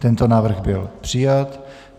Tento návrh byl přijat.